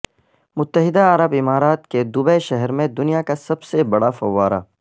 متحدہ عرب امارات کے دبئی شہر میں دنیا کا سب سے بڑا فوارہ